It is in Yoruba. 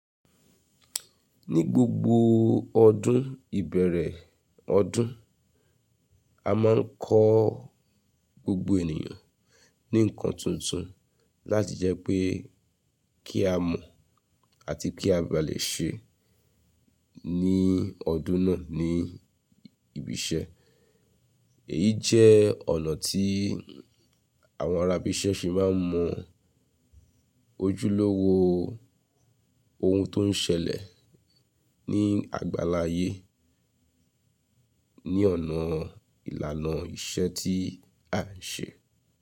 Ní gbogbo ọdún ìbẹ̀rẹ̀ ọdún, a máa ń kọ gbogbo ènìyàn ní nǹkan tuntun láti jẹ́ pé kí a mọ̀ àti kí a ba lè ṣe ní ọdún náà ní ibi iṣẹ́. Èyí jẹ́ ọ̀nà tí àwọn ará ibi iṣẹ́ ṣe máa ń mọ ojúlówó ohun tó ń ṣẹlẹ̀ ní àgbàláyé ní ọ̀nà ìlànà iṣẹ́ tí à ń ṣe.